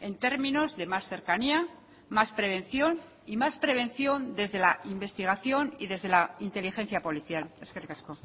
en términos de más cercanía más prevención y más prevención desde la investigación y desde la inteligencia policial eskerrik asko